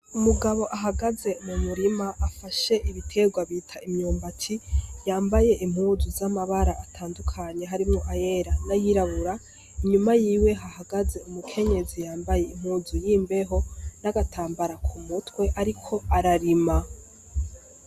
Umugabo ahagaze mu murima afashe ibiterwa bita imyumbaci yambaye impuzu z'amabara atandukanye harimwo ayera nayirabura inyuma yiwe hahagaze umukenyezi yambaye impuzu yimbeho n'agatambara ku mutwe, ariko ararima.